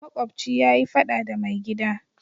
Makobci ya yi fada da mai gida.